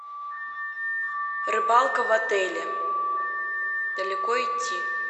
рыбалка в отеле далеко идти